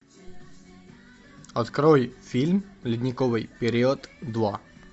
открой фильм ледниковый период два